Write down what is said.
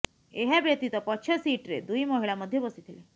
ଏହା ବ୍ୟତୀତ ପଛ ସିଟ୍ରେ ଦୁଇ ମହିଳା ମଧ୍ୟ ବସି ଥିଲେ